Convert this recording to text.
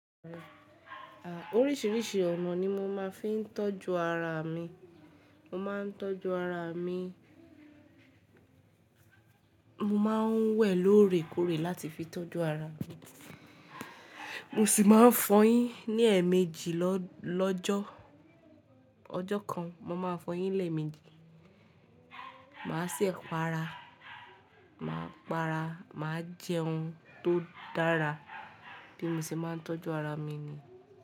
Oríṣìíríṣìí ọ̀nà ni mo máa ń fi ń tọ́jú ara mi, mo máa ń tọ́jú ara mi, mo máa ń wẹ̀ lóore kóòrè láti fi tọ́jú ara mi, mo sì máa ń fọyín ní ẹ̀ẹ̀mejì lọ́jọ́, ọjọ́ kan mo máa fọyín lẹ́ẹ̀ẹ̀mejì, màá ṣi pàra, màá para, màá jẹun tó dára, bi mo ṣe máa ń tọ́jú ara mi ni.